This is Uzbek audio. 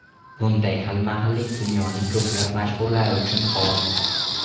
Bunday xilma-xillik dunyoning ko‘plab mashhurlari uchun xos.